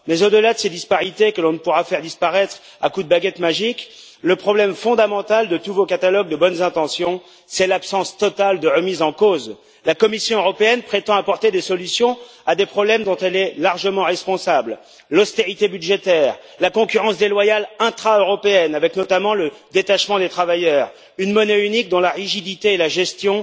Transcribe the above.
Mais au delà de ces disparités que l'on ne pourra faire disparaître à coup de baguette magique, le problème fondamental de tous vos catalogues de bonnes intentions, c'est l'absence totale de remise en cause. La Commission européenne prétend apporter des solutions à des problèmes dont elle est largement responsable l'austérité budgétaire, la concurrence déloyale intra européenne, avec notamment le détachement des travailleurs, une monnaie unique dont la rigidité et la gestion